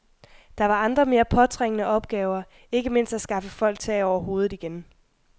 Der var andre, mere påtrængende opgaver, ikke mindst at skaffe folk tag over hovedet igen.